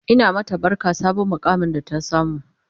Ina mata barka sabon muƙamin da ta samu